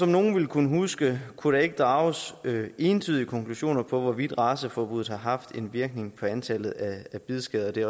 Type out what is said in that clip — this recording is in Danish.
nogle vil kunne huske kunne der ikke drages entydige konklusioner om hvorvidt raceforbuddet har haft en virkning på antallet af bidskader det